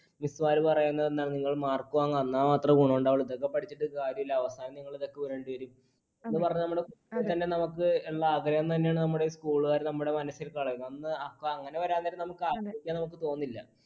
miss മാർ പറയുന്നതെന്താണ് നിങ്ങൾ mark വാങ്ങ് എന്നാൽ മാത്രെ ഗുണം ഉണ്ടാവുള്ളൂ, ഇതൊക്കെ പഠിച്ചിട്ട് കാര്യമില്ല, അവസാനം നിങ്ങൾ ഇതൊക്കെ വിടേണ്ടി വരും എന്ന് പറഞ്ഞാൽ നമ്മുടെ. ആഗ്രഹം തന്നെയാണ് നമ്മുടെ school കാർ നമ്മുടെ മനസ്സിൽ . അന്ന് അങ്ങനെ വരാൻ നേരം നമുക്ക് ആഗ്രഹിക്കാൻ നമുക്ക് തോന്നില്ല.